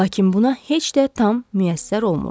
Lakin buna heç də tam müyəssər olmurdu.